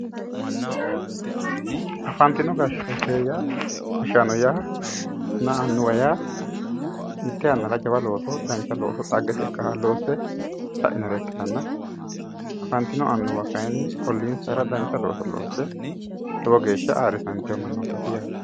Afantino gashaanonna annuwa yaa mite yannara jawa looso dhaggete looso ,dhaggete ikkanoha loosse sainore ikkittanna afantino annuwa kayinni ollinsara dancha looso loosse lowo geeshsha ayirrisatino mannottati yaate.